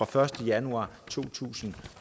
første januar to tusind